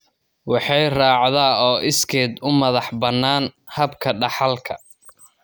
Waxay raacdaa oo iskeed u madax-bannaan habka dhaxalka.